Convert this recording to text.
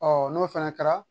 n'o fana kɛra